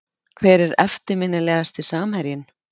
Hver er eftirminnilegasti samherjinn?